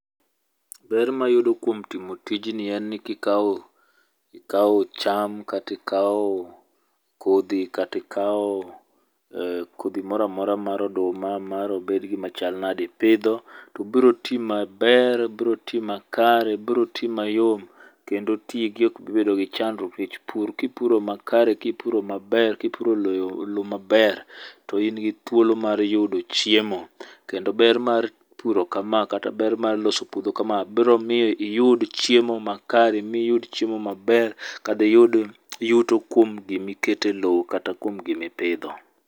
Ber mayudo kuom timo tijni en ni kikaw ikaw cham kati ikaw kodhi kati ikaw kodhi moro amora mar oduma mar obed gimachal nade ipidho to biro ti maber biro ti makare biro ti mayom. Kendo ti gi ok bi bedo gi chandruok nikech pur kipuro makare kipuro maber kipuro low maber to in gi thuolo mar yudo chiemo. Kendo ber mar puro kama kata ber mar loso puodho kama biro miyo iyud chiemo makare miyud chiemo maber kadiyud iyud yuto kuom gimi keto low kata kuom gimi pidho.